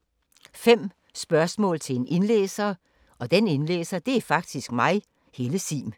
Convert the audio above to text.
5 spørgsmål til en indlæser